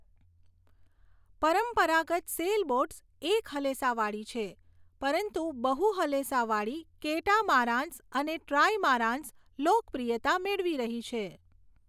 પરંપરાગત સૅલબોટ્સ એક હલેસાવાળી છે, પરંતુ બહુ હલેસાવાળી કેટામારાન્સ અને ટ્રાઇમારાન્સ લોકપ્રિયતા મેળવી રહી છે.